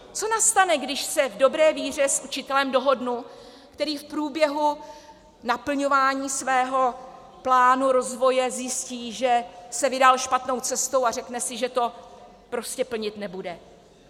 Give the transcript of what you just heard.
Co nastane, když se v dobré víře s učitelem dohodnu, který v průběhu naplňování svého plánu rozvoje zjistí, že se vydal špatnou cestou, a řekne si, že to prostě plnit nebude?